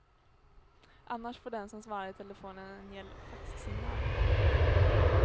Annars får den som svarar i telefonen en gäll faxsignal i örat.